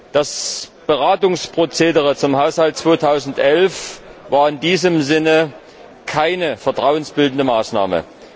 Das Beratungsprozedere zum Haushalt 2011 war in diesem Sinne keine vertrauensbildende Maßnahme.